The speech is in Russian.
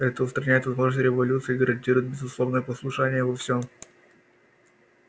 это устраняет возможность революций и гарантирует безусловное послушание во всем